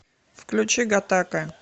включи гатака